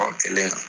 Ɔ kelen na